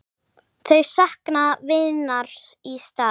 Þau sakna vinar í stað.